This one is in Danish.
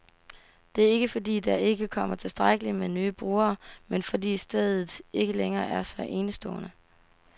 Det er ikke, fordi der ikke kommer tilstrækkeligt med nye brugere, men fordi stedet ikke længere er så enestående.